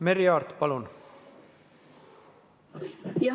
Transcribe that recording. Merry Aart, palun!